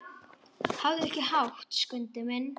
Hafðu ekki hátt, Skundi minn.